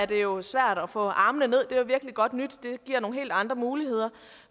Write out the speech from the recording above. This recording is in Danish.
det jo svært at få armene det var virkelig godt nyt det giver nogle helt andre muligheder